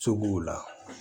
So b'o la